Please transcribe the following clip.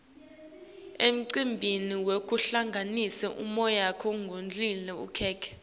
emcimbini wekuhlanganisa umyaka kudliwa likhekhe